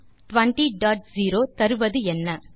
int200 தருவது என்ன